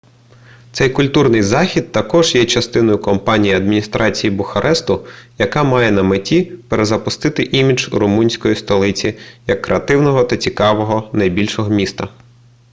цей культурний захід також є частиною кампанії адміністрації бухаресту яка має на меті перезапустити імідж румунської столиці як креативного та цікавого найбільшого міста